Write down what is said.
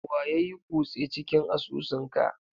Wa yayui cuse cikin asusun ka?